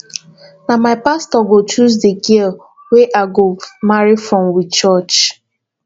na my pastor go choose di girl wey i go marry from we church